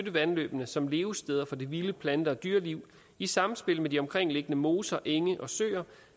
af vandløbene som levesteder for det vilde plante og dyreliv i samspil med de omkringliggende moser enge og søer